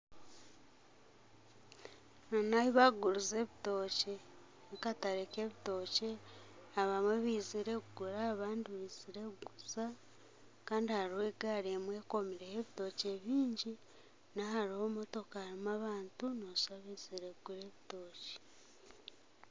Aha nahu barikuguriza ebitookye nakatare kebitookye abamwe bizire kugura abandi bizire kuguza Kandi hariho egaari emwe ekomireho ebitookye bingi hariho motoka hariho abantu nooshusha ngu baizire kugura ebitookye